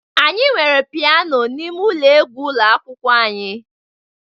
Anyị nwere Piano n'ime ụlọ egwu ụlọ akwụkwọ anyị